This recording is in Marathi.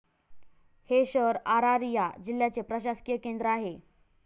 हे शहर अरारिया जिल्याचे प्रशासकीय केंद्र आहे.